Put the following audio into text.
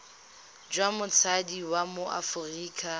jwa motsadi wa mo aforika